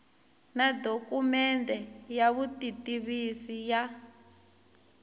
na dokumende ya vutitivisi ya